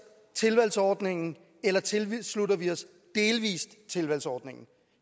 tilvalgsordningen eller tilslutter vi os delvis tilvalgsordningen